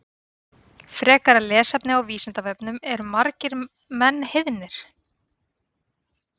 Frekara lesefni á Vísindavefnum Eru margir menn heiðnir?